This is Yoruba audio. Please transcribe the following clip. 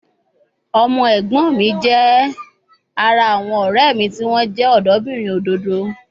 Ọmọ ẹ̀gbọ́n mi jẹ́ ara àwọn ọ̀rẹ́ mi tí wọ́n jẹ́ ọ̀dọ́bìnrin òdòdó